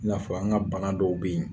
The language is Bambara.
I n'a fɔ an ka bana dɔw bɛ yen